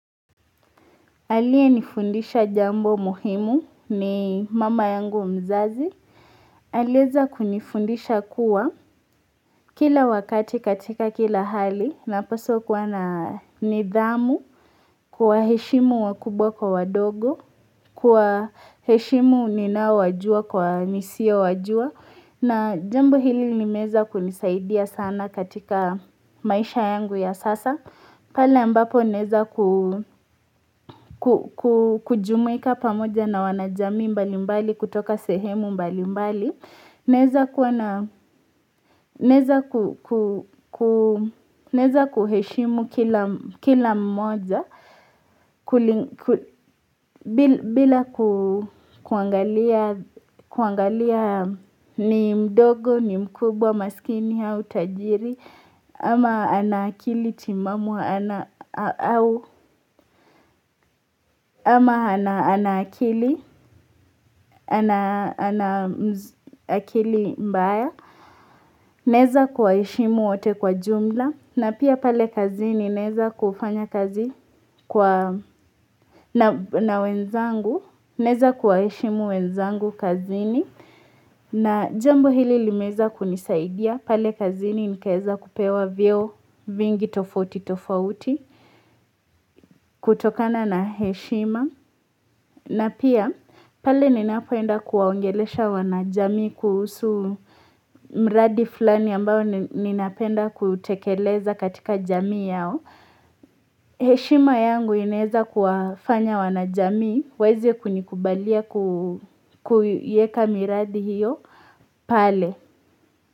Alie nifundisha jambo muhimu ni mama yangu mzazi alieza kunifundisha kuwa kila wakati katika kila hali napaso kuwana nidhamu kwa heshimu wakubwa kwa wadogo kwa heshimu nina wajua kwa nisia wajua na jambo hili nimeza kunisaidia sana katika maisha yangu ya sasa Pala mbapo naeza kujumika pamoja na wanajami mbali mbali kutoka sehemu mbali mbali Naeza kuheshimu kila mmoja bila kuangalia ni mdogo, ni mkubwa, masikini, au tajiri ama ana akili timamu ama ana akili ana akili mbaya naeza kuwaheshimu ote kwa jumla na pia pale kazini neza kufanya kazi na wenzangu naeza kuwaishimu wenzangu kazini na jambo hili limeza kunisaidia pale kazini nikeza kupewa vio vingi tofuti tofauti kutokana na heshima na pia pale ninapeenda kuwaongelesha wanajamii kusu mradi fulani ambao ninapenda kutekeleza katika jamii yao heshima yangu inaeza kufanya wanajami wawezi kunikubalia kuyeka miradi hiyo pale.